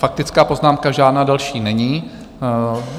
Faktická poznámka žádná další není.